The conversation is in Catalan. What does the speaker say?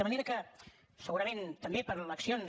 de manera que segurament també per accions